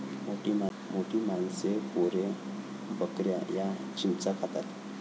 मोठी माणसे, पोरे, बकऱ्या या चिंचा खातात.